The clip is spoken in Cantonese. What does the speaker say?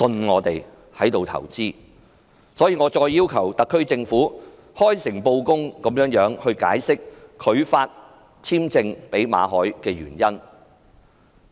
我再次要求特區政府開誠布公，解釋拒發簽證予馬凱的原因。